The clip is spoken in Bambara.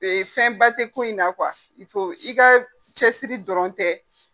fɛnba tɛ ko in na i ka cɛsiri dɔrɔn tɛ.